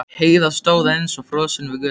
Heiða stóð eins og frosin við götuna.